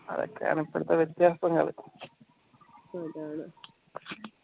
അതൊക്കെയാണ് ഇപ്പോഴത്തെ വ്യത്യാസങ്ങൾ